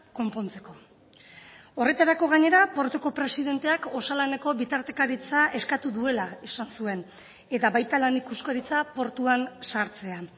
konpontzeko horretarako gainera portuko presidenteak osalaneko bitartekaritza eskatu duela esan zuen eta baita lan ikuskaritza portuan sartzean